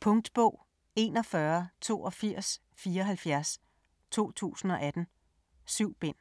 Punktbog 418274 2018. 7 bind.